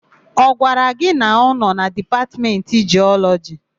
Ọ gwara gị na ọ nọ na Dipatmentị Jiọlọjị?